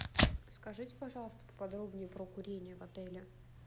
скажите пожалуйста поподробнее про курение в отеле